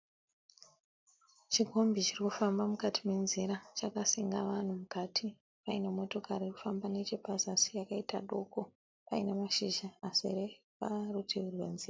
Chikombi chirikufamba mukati menzira chakasenga vanhu mukati . Paine motokari irikufamba nechepazasi yakaita doko Paine mashizha azere parutivi rwenzira.